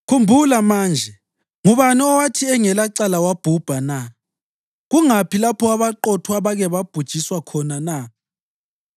Khumbula manje: Ngubani owathi engelacala wabhubha na? Kungaphi lapho abaqotho abake babhujiswa khona na?